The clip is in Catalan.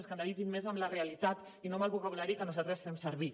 escandalitzi’s més amb la realitat i no amb el vocabulari que nosaltres fem servir